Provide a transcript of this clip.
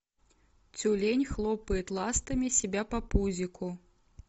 тюлень хлопает ластами себя по пузику